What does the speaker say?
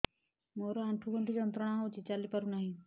ମୋରୋ ଆଣ୍ଠୁଗଣ୍ଠି ଯନ୍ତ୍ରଣା ହଉଚି ଚାଲିପାରୁନାହିଁ